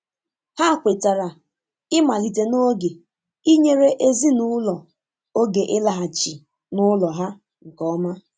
Ha kwetara ịmalite n'oge inyere ezinụlọ oge ịlaghachi n'ụlọ ha nke ọma.